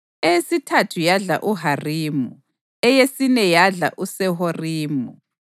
eyesithathu yadla uHarimu, eyesine yadla uSeworimi,